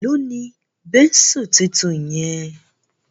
Èló ní Bẹ́ńsù títún yen?